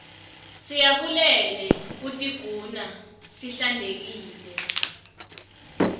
siyabulele kutiguna sihlantekile